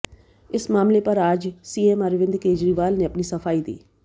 इस मामले पर आज सीएम अरविंद केजरीवाल ने अपनी सफाई दी है